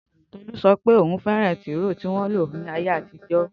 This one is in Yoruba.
Tolú sopé ohún fẹ́ràn tìróò tí wọ́n ńlo ni ayé àtijó.